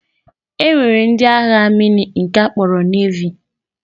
E nwere ndị agha mmiri nke a kpọrọ Nevi